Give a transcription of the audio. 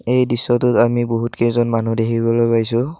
এই দৃশ্যটোত আমি বহুত কেইজন মানুহ দেখিবলৈ পাইছোঁ।